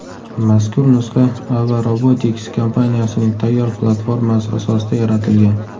Mazkur nusxa Ava Robotics kompaniyasining tayyor platformasi asosida yaratilgan.